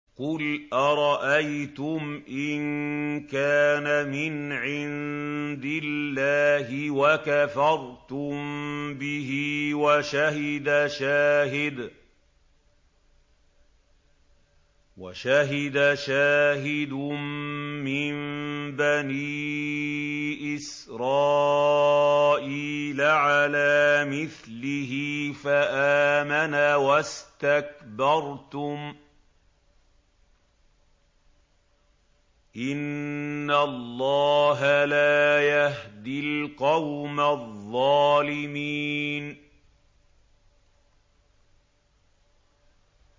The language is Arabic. قُلْ أَرَأَيْتُمْ إِن كَانَ مِنْ عِندِ اللَّهِ وَكَفَرْتُم بِهِ وَشَهِدَ شَاهِدٌ مِّن بَنِي إِسْرَائِيلَ عَلَىٰ مِثْلِهِ فَآمَنَ وَاسْتَكْبَرْتُمْ ۖ إِنَّ اللَّهَ لَا يَهْدِي الْقَوْمَ الظَّالِمِينَ